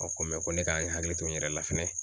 A ko ko ne k'a n hakili to n yɛrɛ la fɛnɛ.